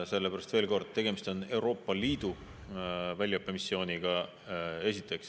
Sellepärast, veel kord, et esiteks, tegemist on Euroopa Liidu väljaõppemissiooniga.